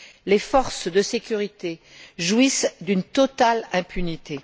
Les forces de sécurité jouissent d'une totale impunité.